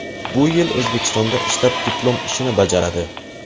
Bu yil O‘zbekistonda ishlab, diplom ishini bajaradi.